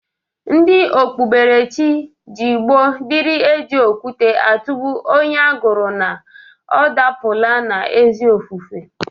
Ndị okpuberechi jụụ gboo dịri e ji okwute atụgbụ onye agụrụ na ọ dapụla n'ezi ofufe.